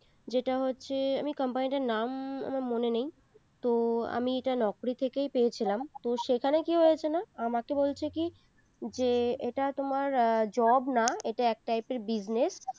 যেটা হচ্ছে আমি company টার নাম আমার মনে নেই তো আমি এটা naukri থেকেই পেয়েছিলাম তো সেখানে কি হয়েছে না আমাকে বলছে কি যে এটা তোমার job না ইটা এক type business